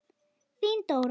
Þín Dóra.